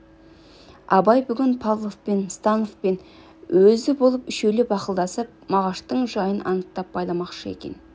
абай бүгін павловпен становпен өзі болып үшеулеп ақылдасып мағаштың жайын анықтап байламақшы екен